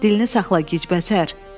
Dilini saxla, gicbəsər!